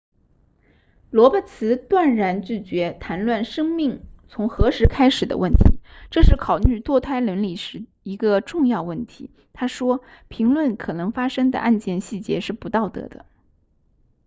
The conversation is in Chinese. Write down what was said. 罗伯茨断然拒绝谈论生命从何时开始的问题这是考虑堕胎伦理时的一个重要问题他说评论可能发生的案件细节是不道德的